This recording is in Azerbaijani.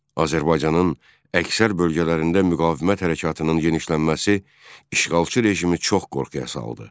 Azərbaycanın əksər bölgələrində müqavimət hərəkatının genişlənməsi işğalçı rejimi çox qorxuya saldı.